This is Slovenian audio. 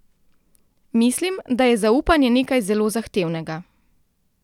Mislim, da je zaupanje nekaj zelo zahtevnega.